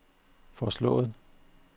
foreslået